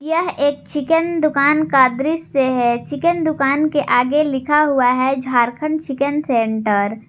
यह एक चिकन दुकान का दृश्य है चिकन दुकान के आगे लिखा हुआ है झारखंड चिकन सेंटर ।